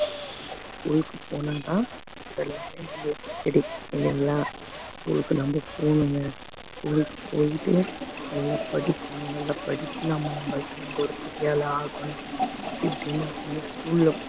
school க்கு போனா தான் அதெல்லாமே நம்மளுக்கு பிடிக்கும் இல்லைங்களா school ளுக்கு நம்ம போகணுங்க school க்கு போயிட்டு நல்லா படிக்கணும் நல்லா படிச்சு நாம நம்ம ஒரு பெரிய ஆளா ஆகணும் இப்படி நான் வந்து school ல